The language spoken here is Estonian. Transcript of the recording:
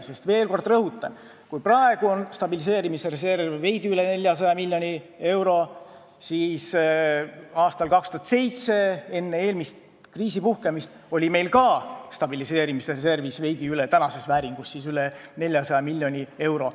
Rõhutan veel kord: kui praegu on stabiliseerimisreservis veidi üle 400 miljoni euro, siis aastal 2007, enne eelmist kriisi puhkemist, oli meil stabiliseerimisreservis tänases vääringus ka veidi üle 400 miljoni euro.